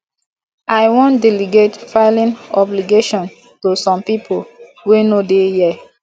i wan delegate filing obligation to some people wey no dey here